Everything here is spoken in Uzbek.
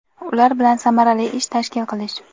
ular bilan samarali ish tashkil qilish;.